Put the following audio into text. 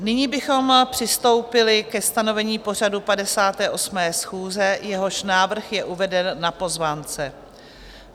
Nyní bychom přistoupili ke stanovení pořadu 58. schůze, jehož návrh je uveden na pozvánce.